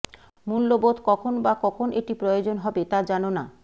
মূল্যবোধ কখন বা কখন এটি প্রয়োজন হবে তা জানো না